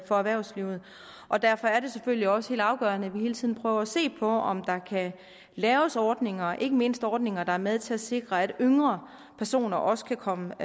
for erhvervslivet og derfor er det selvfølgelig også helt afgørende at vi hele tiden prøver at se på om der kan laves ordninger ikke mindst ordninger der er med til at sikre at yngre personer også kan komme